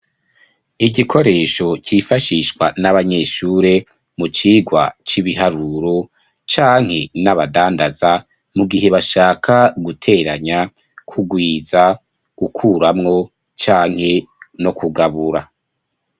Igikoresho cifashishwa n'abanyeshure mu cigwa c'ibiharuro canke n'abadandaza mu gihe bashaka guteranya kugwiza gukuramwo canke no kugabura.